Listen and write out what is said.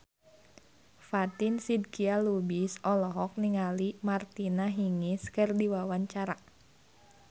Fatin Shidqia Lubis olohok ningali Martina Hingis keur diwawancara